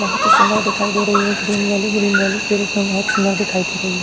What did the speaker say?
बहुत ही सुंदर दिखाई दे रही है ये ग्रीन वैली ग्रीन वैली के रूप में बहुत सुंदर दिखाई दे रही है।